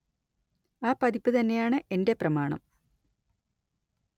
ആ പതിപ്പ് തന്നെയാണ് എന്റെ പ്രമാണം